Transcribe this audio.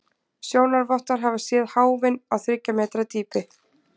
Sjónarvottar hafa séð háfinn á þriggja metra dýpi.